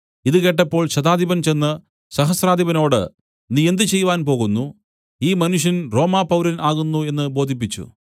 ഇതു കേട്ടപ്പോൾ ശതാധിപൻ ചെന്ന് സഹസ്രാധിപനോട് നീ എന്ത് ചെയ്‌വാൻ പോകുന്നു ഈ മനുഷ്യൻ റോമാപൗരൻ ആകുന്നു എന്നു ബോധിപ്പിച്ചു